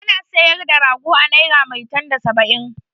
Ana sayar da rago a naira maitan da saba'in.